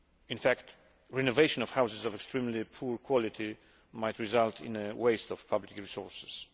In fact, renovation of houses of extremely poor quality might result in a waste of public resources.